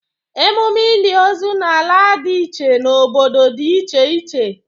Emume ili ozu n'ala dị iche n' obodo dị iche iche